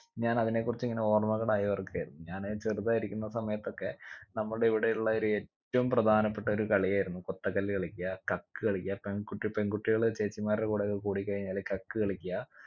ഞാൻ അതിനെ കുറിച്ച് ഇങ്ങനെ ഓർമ്മകൾ അയവിറക്കുകയായിരുന്നു ഞാൻ ചെറുതായിട്ടിരിക്കുന്ന സമയത്തൊക്കെ നമ്മുടെ ഇവിടെയുള്ളൊരു ഏറ്റവും പ്രധാനപ്പെട്ടൊരു കളിയായിരുന്നു കൊത്ത കല്ല് കളിക്ക കക്ക് കളിക്ക പെൺകുട്ടി പെൺകുട്ടികൾ ചേച്ചിമാരുടെ കൂടെ ഒക്കെ കൂടി കഴിഞ്ഞാല് കക്ക് കളിക്ക